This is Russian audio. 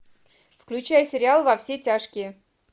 включай сериал во все тяжкие